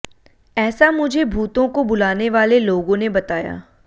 ऐसा मुझे भूतों को बुलाने वाले लोगों ने बताया